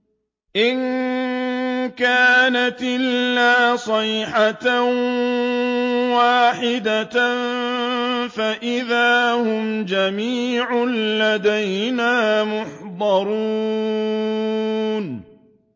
إِن كَانَتْ إِلَّا صَيْحَةً وَاحِدَةً فَإِذَا هُمْ جَمِيعٌ لَّدَيْنَا مُحْضَرُونَ